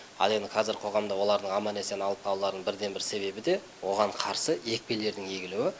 ал енді қазір қоғамда олардың аман есен алып қалуларының бірден бір себебі де оған қарсы екпелердің егілуі